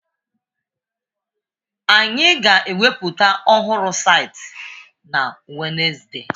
Anyị ga-eweputa ọhụrụ saịtị na Wenezde!